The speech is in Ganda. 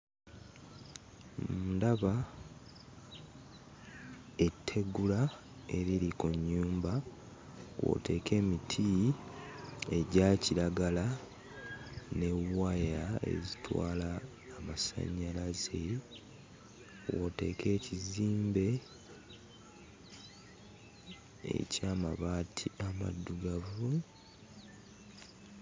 Ndaba ettegula eriri ku nnyumba, kw'oteeka emiti egya kiragala ne waya ezitwala amasannyalaze, kw'oteeka ekizimbe eky'amabaati amaddugavu.